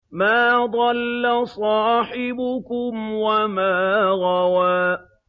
مَا ضَلَّ صَاحِبُكُمْ وَمَا غَوَىٰ